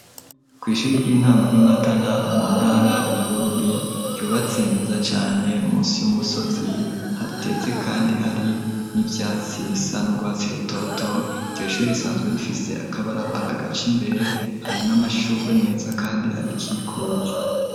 Kw'ishuri ry'intango ryi Matana mu ntara ya Bururi, ryubatse neza cane musi y'umusozi hateze kandi hari n'ivyatsi bisa n'urwatsi rutoto, iryo shure risanzwe rifise akabarabara agaca imbere, hari n'amashurwe meza kandi arikikuje.